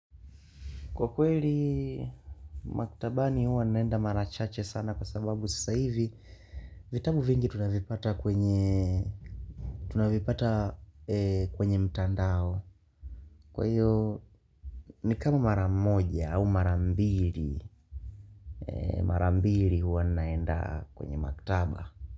Kwa kweli, maktabani huwa naenda marachache sana kwa sababu sasa hivi vitabu vingi tunavipata kwenye mtandao. Kwa hiyo ni kama maramoja au mara mbili, marambili huwa naenda kwenye maktaba.